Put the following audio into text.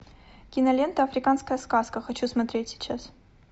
кинолента африканская сказка хочу смотреть сейчас